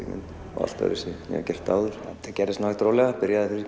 og allt öðruvísi ég hef gert áður þetta gerðist hægt og rólega byrjaði